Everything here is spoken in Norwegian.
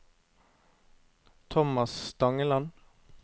Thomas Stangeland